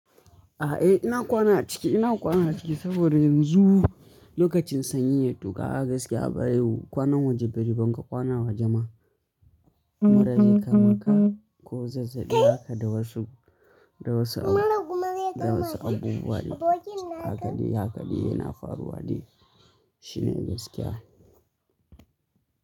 A eh ina kwana ciki, ina kwana ciki saboda yanzu lokacin sanyi ya tuka, gaskiya baya yi kwanan waje bari banga kwana waje ma. Mura zai maka ko zazzabi haka da wasu, da wasu abu, da wasu abubuwa ne. Haka dai, haka dai yana faruwa dai shine gaskiya.